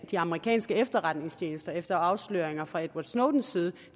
de amerikanske efterretningstjenester efter afsløringerne fra edward snowdens side